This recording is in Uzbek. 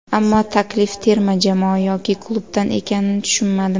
Ammo taklif terma jamoa yoki klubdan ekanini tushunmadim.